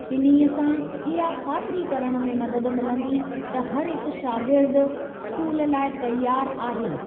इन्हीअ सां इहा ख़ातिरी करण में मदद मिलंदी त हरहिकु शागिर्दु स्कूल लाइ तयारु आहे।